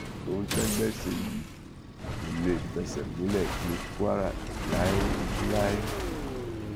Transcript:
ohun tẹgbẹ ṣe yìí kò lè fẹsẹ múlẹ ní kwara láéláé